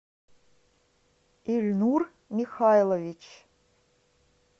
ильнур михайлович